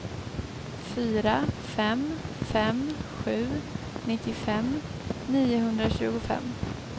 fyra fem fem sju nittiofem niohundratjugofem